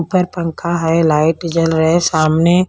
ऊपर पंखा है लाइट जल रहे है सामने--